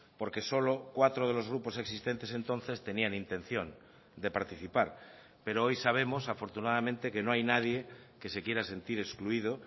porque solo cuatro de los grupos existentes entonces tenían intención de participar pero hoy sabemos afortunadamente que no hay nadie que se quiera sentir excluido